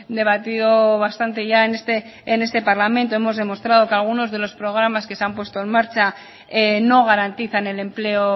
debatido bastante ya en este parlamento hemos demostrado que algunos de los programas que se han puesto en marcha no garantizan el empleo